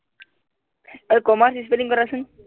অই commerce spelling কৰাচোন